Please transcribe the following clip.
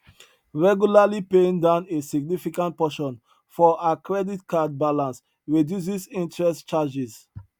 regularly paying down a significant portion for ha credit card balance reduces interest charges